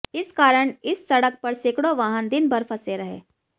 इस कारण इस सड़क पर सैकड़ों वाहन दिन भर फंसे रहे